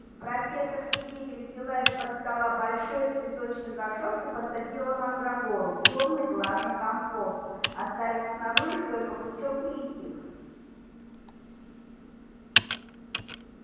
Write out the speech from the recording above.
профессор стебль взяла из-под стола большой цветочный горшок и посадила мандрагору в тёмный влажный компост оставив снаружи только пучок листьев